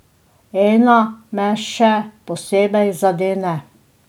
Ena me še posebej zadene.